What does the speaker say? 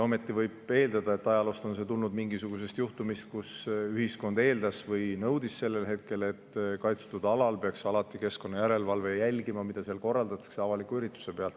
Ometi võib eeldada, et ajalooliselt on see tulnud mingisugusest juhtumist, mille puhul ühiskond eeldas või nõudis sellel hetkel, et kaitstud alal peaks keskkonnajärelevalve alati jälgima, mida seal korraldatakse avaliku üritusena.